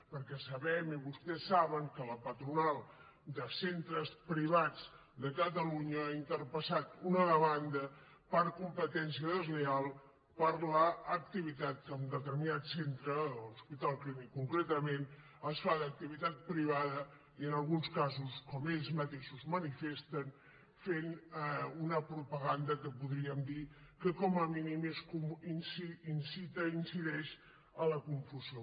perquè sabem i vostès saben que la patronal de centres privats de catalunya ha interposat una demanda per competència deslleial per l’activitat que en determinat centre l’hospital clínic concretament es fa d’activitat privada i en alguns casos com ells mateixos manifesten fent una propaganda que podríem dir que com a mínim incita i incideix en la confusió